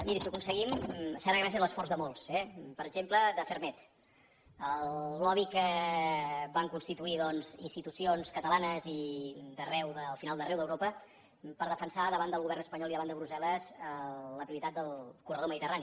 miri si ho aconseguim serà gràcies a l’esforç de molts eh per exemple de ferrmed el lobbyons catalanes i al final d’arreu d’europa per defensar davant del govern espanyol i davant de brussel·les la prioritat del corredor mediterrani